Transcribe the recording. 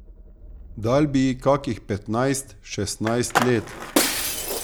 Dal bi ji kakih petnajst, šestnajst let.